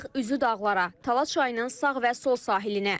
Yol alırıq üzü dağlara, Tala çayının sağ və sol sahilinə.